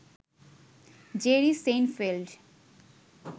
Jerry Seinfeld